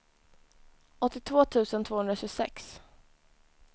åttiotvå tusen tvåhundratjugosex